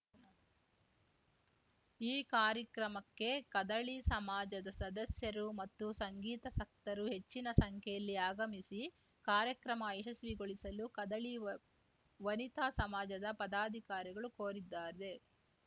ಈ ಕಾರ್ಯಕ್ರಮಕ್ಕೆ ಕದಳಿ ಸಮಾಜದ ಸದಸ್ಯರು ಮತ್ತು ಸಂಗೀತಸಕ್ತರು ಹೆಚ್ಚಿನ ಸಂಖ್ಯೆಯಲ್ಲಿ ಆಗಮಿಸಿ ಕಾರ್ಯಕ್ರಮ ಯಶಸ್ವಿಗೊಳಿಸಲು ಕದಳಿ ವ ವನಿತಾ ಸಮಾಜದ ಪದಾಧಿಕಾರಿಗಳು ಕೋರಿದ್ದಾರೆ